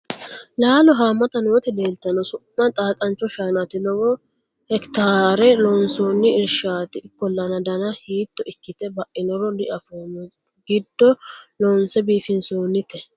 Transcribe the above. laalo haammata nooti leeltanno su'ma xaaxancho shaanaati lowo hekitaarera loonsoonni irshshaati ikkollana dana hiito ikkite bainoro diafoommo giddo loonse biifinsoonite